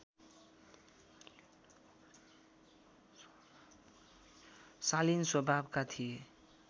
शालीन स्वभावका थिए